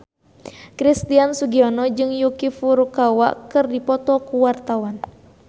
Christian Sugiono jeung Yuki Furukawa keur dipoto ku wartawan